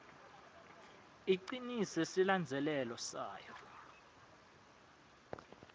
icinise silandzelelo sayo